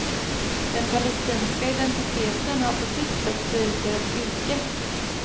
Den palestinska identiteten har på sitt sätt blivit deras yrke.